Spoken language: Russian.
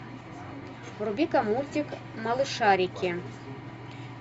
вруби ка мультик малышарики